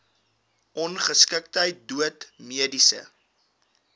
ongeskiktheid dood mediese